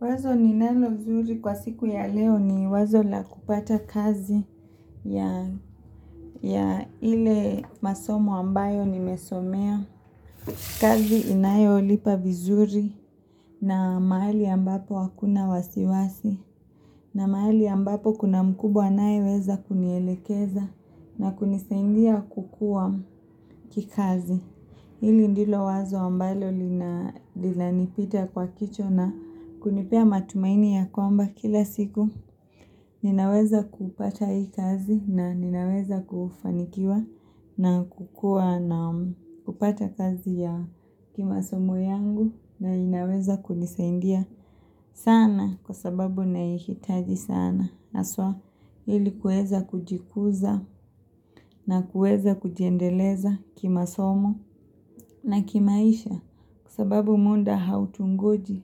Wazo ninalo nzuri kwa siku ya leo, ni wazo la kupata kazi ya ile masomo ambayo nimesomea. Kazi inayo lipa vizuri, na mahali ambapo hakuna wasiwasi. Na mahali ambapo kuna mkubwa anaye weza kunielekeza na kunisaidia kukua kikazi. Hili ndilo wazo ambalo lina nipita kwa kichwa, na kunipea matumaini ya kwamba kila siku Ninaweza kupata hii kazi, na ninaweza kufanikiwa na kukua, na kupata kazi ya kimasomo yangu, na inaweza kunisaidia sana kwa sababu naihitaji sana. Haswa, ili kuweza kujikuza na kuweza kujiendeleza kimasomo na kimaisha. Kwa sababu muda hautungoji,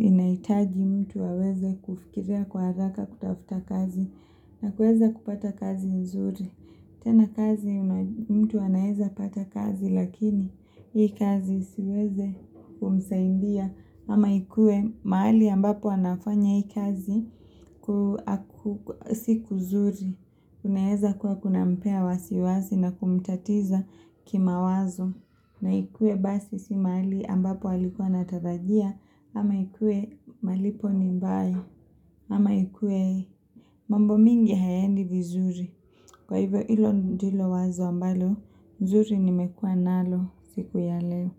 inahitaji mtu aweze kufikiria kwa haraka kutafuta kazi na kuweza kupata kazi nzuri. Tena, kazi mtu anaeza pata kazi lakini, hii kazi isiweze kumsaidia ama ikue mahali ambapo anafanya hii kazi, si kuzuri. Unaweza kuwa kunampea wasi wasi na kumtatiza kimawazo. Unaikuwe basi si mahali ambapo alikuwa anatarajia, ama ikuwe malipo ni mbaya, ama ikuwe mambo mingi hayendi vizuri. Kwa hivyo hilo ndilo wazo ambalo, nzuri nimekuwa nalo siku ya leo.